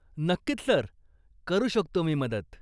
नक्कीच, सर, करू शकतो मी मदत.